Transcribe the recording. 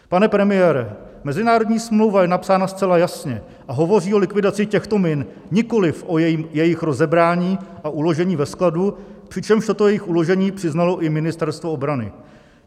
Pane premiére, mezinárodní smlouva je napsána zcela jasně a hovoří o likvidaci těchto min, nikoliv o jejich rozebrání a uložení ve skladu, přičemž toto jejich uložení přiznalo i Ministerstvo obrany.